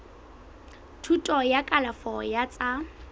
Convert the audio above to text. thuto ya kalafo ya tsa